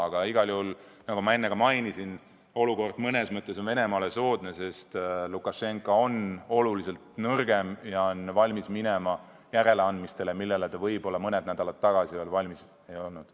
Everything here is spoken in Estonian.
Aga igal juhul, nagu ma enne ka mainisin, on olukord mõnes mõttes Venemaale soodne, sest Lukašenka on märksa nõrgem ja valmis minema järeleandmistele, milleks ta võib-olla mõned nädalad tagasi veel valmis ei olnud.